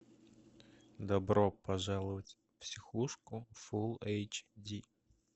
добро пожаловать в психушку фулл эйч ди